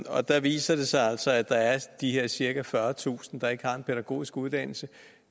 og der viser det sig altså at der er de her cirka fyrretusind der ikke har en pædagogisk uddannelse